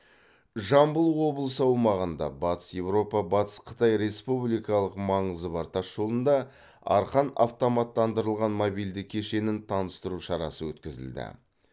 жамбыл облысы аумағында батыс еуропа батыс қытай республикалық маңызы бар тас жолында арқан автоматтандырылған мобильді кешенін таныстыру шарасы өткізілді